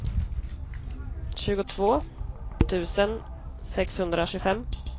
tjugotvå tusen sexhundratjugofem